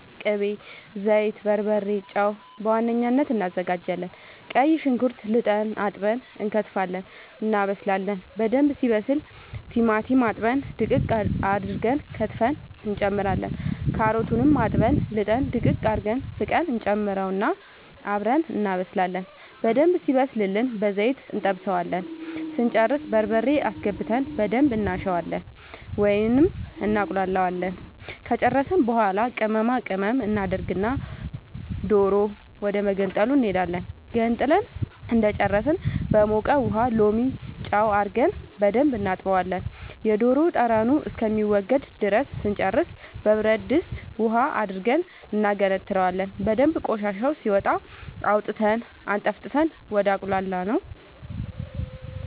ቅቤ ዘይት በርበሬ ጨው በዋነኝነት አናዘጋጃለን ቀይ ሽንኩርት ልጠን አጥበን እንከትፋለን እናበስላለን በደንብ ሲበስል ቲማቲም አጥበን ድቅቅ አርገን ከትፈን እንጨምራለን ካሮቱንም አጥበን ልጠን ድቅቅ አርገን ፍቀን እንጨምረውና አብረን እናበስላለን በደንብ ሲበስልልን በዘይት እንጠብሰዋለን ስንጨርስ በርበሬ አስገብተን በደንብ እናሸዋለን ወይም እናቁላለዋለን ከጨረስን በኃላ ቅመማ ቅመም እናደርግና ዶሮ ወደመገንጠሉ እንሄዳለን ገንጥለን እንደጨረስን በሞቀ ውሃ ሎሚ ጨው አርገን በደንብ እናጥበዋለን የዶሮ ጠረኑ እስከሚወገድ ድረስ ስንጨርስ በብረድስት ውሃ አድርገን እናገነትረዋለን በደንብ ቆሻሻው ሲወጣ አውጥተን አጠንፍፈን ወደ አቁላላነው